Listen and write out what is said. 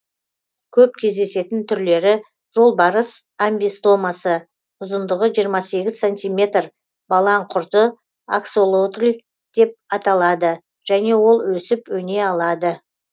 көп кездесетін түрлері жолбарыс амбистомасы ұзындығы жиырма сегіз сантиметр балаңқұрты аксолотль деп аталады және ол өсіп өне алады